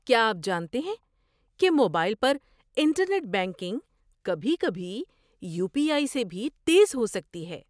کیا آپ جانتے ہیں کہ موبائل پر انٹرنیٹ بینکنگ کبھی کبھی یو پی آئی سے بھی تیز ہو سکتی ہے؟